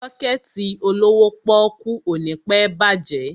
Sọ́kẹ̀tì olówó pọ́ọ́kú ò ní pẹ́ bàjẹ́.